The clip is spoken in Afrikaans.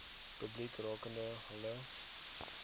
publiek rakende hulle